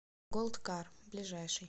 голд кар ближайший